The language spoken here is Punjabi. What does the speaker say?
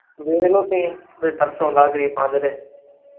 ਵੇਖ ਲਓ ਤੁਹੀਂ ਜੇ ਤਰਸ ਆਉਂਦਾ ਗਰੀਬਾਂ ਤੇ ਤਾਂ।